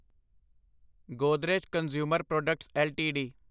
Godrej consumer products LTD